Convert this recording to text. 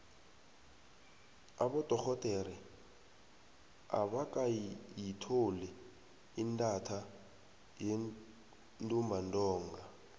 abodorhodere abakayitholi intatha yentumbantonga